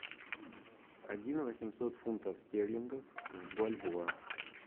один восемьсот фунтов стерлингов в бальбоа